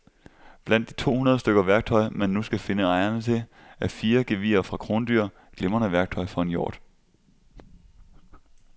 Blandt de to hundrede stykker værktøj, man nu skal finde ejerne til, er fire gevirer fra krondyr, glimrende værktøj for en hjort.